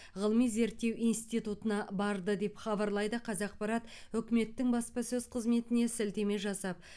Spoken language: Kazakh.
ғылыми зерттеу институтына барды деп хабарлайды қазақпарат үкіметтің баспасөз қызметіне сілтеме жасап